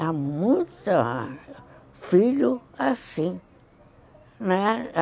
Há muitos filhos assim, né.